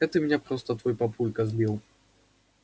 это меня просто твой папулька сбил